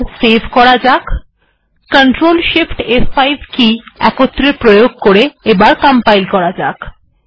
এটিকে সেভ করে ctrl shift ফ5 এর প্রয়োগের দ্বারা কম্পাইল করা যাক